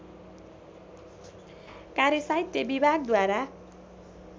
कार्य साहित्य विभागद्वारा